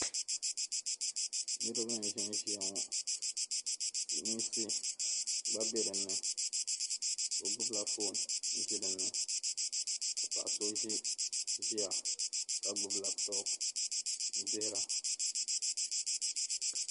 niriba n-ʒinʒia ŋɔ silimiinsi gba be dinni so gbubila foon n-ʒi dinni ka paɣa so gba ʒia ka gbubi lapitɔpu n-dihira